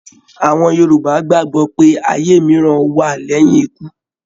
Àwọn Yorùbá gbàgbọ́ pé ayé mìíràn wá lẹ́yìn ikú